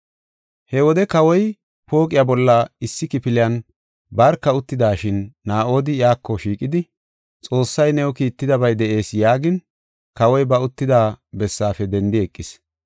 He wode kawoy pooqiya bolla issi kifiliyan barka uttidashin, Naa7odi iyako shiiqidi, “Xoossay new kiittidabay de7ees” yaagin, kawoy ba uttida bessaafe dendi eqis.